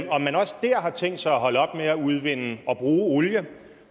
om man også dér har tænkt sig at holde op med at udvinde og bruge olie